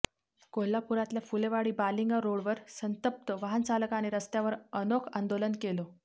कोल्हापुरातल्या फुलेवाडी बालिंगा रोडवर संतप्त वाहनचालकाने रस्त्यावर अनोख आंदोलन केलं